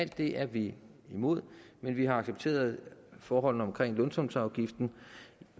det er vi imod men vi har accepteret forholdene omkring lønsumsafgiften